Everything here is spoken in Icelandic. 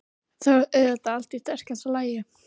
Þá er auðvitað allt í stakasta lagi!